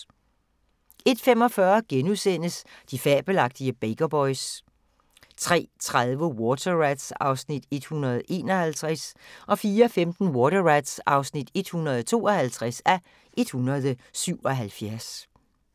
01:45: De fabelagtige Baker Boys * 03:30: Water Rats (151:177) 04:15: Water Rats (152:177)